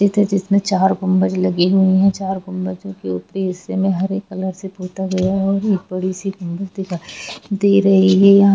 ये मस्जिद है जिसमें चार गुबज लगे हुए है चार गुबजो के ऊपरी हिस्से में हरे कॉलर से पुता गया हैऔर ये एक बड़ी सी गुमबज दिखाई दे रही है।